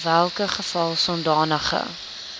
welke geval sodanige